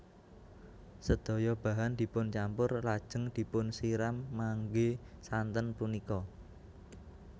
Sedaya bahan dipuncampur lajeng dipunsiram ngangge santen punika